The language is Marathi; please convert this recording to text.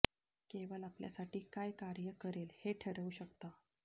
केवळ आपल्यासाठी काय कार्य करेल हे ठरवू शकता